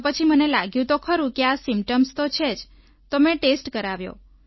તો પછી મને લાગ્યું તો ખરું કે આ સિમ્પટોમ્સ તો છે તો મેં ટેસ્ટ કરાવ્યો